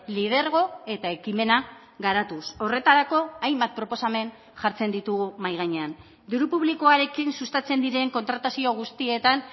lidergo eta ekimena garatuz horretarako hainbat proposamen jartzen ditugu mahai gainean diru publikoarekin sustatzen diren kontratazio guztietan